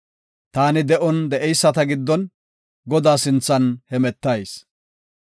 Taani de7on de7eyisata giddon, Godaa sinthan hemetayis.